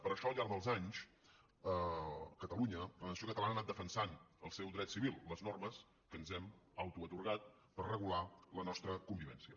per això al llarg dels anys catalunya la nació catalana ha anat defensant el seu dret civil les normes que ens hem autoatorgat per regular la nostra convivència